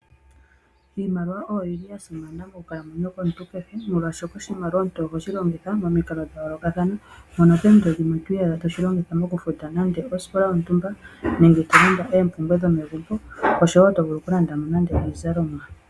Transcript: Iimaliwa oyi li ya simana monkalamweyo yomuntu kehe, molwashoka oshimaliwa omuntu oho shi longitha momikalo dha yoolokathana. Mpono poompito dhimwe to iyadha to shi longitha mokufuta nande osikola yontumba, nenge to landa oompumbwe dhomegumbo oshowo to vulu okulanda mo nande iizalomwa.